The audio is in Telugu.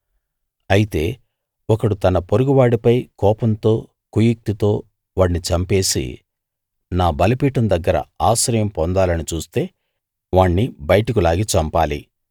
అయితే ఒకడు తన పొరుగువాడిపై కోపంతో కుయుక్తితో వాణ్ణి చంపేసి నా బలిపీఠం దగ్గర ఆశ్రయం పొందాలని చూస్తే వాణ్ణి బయటకు లాగి చంపాలి